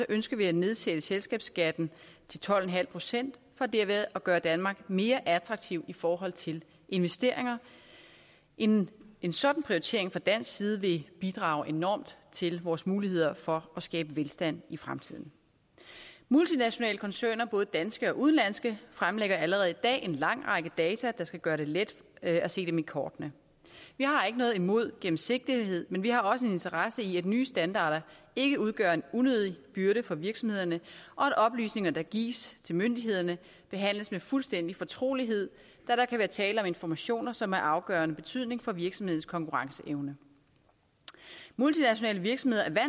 ønsker vi at nedsætte selskabsskatten til tolv procent for derved at gøre danmark mere attraktiv i forhold til investeringer en en sådan prioritering fra dansk side vil bidrage enormt til vores muligheder for at skabe velstand i fremtiden multinationale koncerner både danske og udenlandske fremlægger allerede i dag en lang række data der skal gøre det let at se dem i kortene vi har ikke noget imod gennemsigtighed men vi har også en interesse i at nye standarder ikke udgør en unødig byrde for virksomhederne og at oplysninger der gives til myndighederne behandles med fuldstændig fortrolighed da der kan være tale om informationer som er af afgørende betydning for virksomhedens konkurrenceevne multinationale virksomheder er